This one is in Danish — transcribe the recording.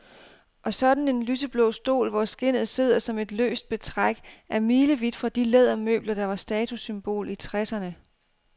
Og sådan en lyseblå stol, hvor skindet sidder som et løst betræk, er milevidt fra de lædermøbler, der var statussymbol i tresserne.